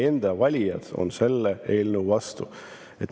Teie enda valijad on selle eelnõu vastu.